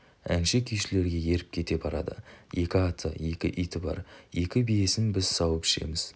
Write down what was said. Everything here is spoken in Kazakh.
әнші-күйшілерге еріп кете барады екі аты екі иті бар екі биесін біз сауып ішеміз